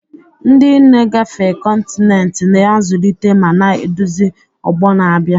Ndị nne gafee kọntinent, na-azụlite ma na-eduzi ọgbọ na-abịa.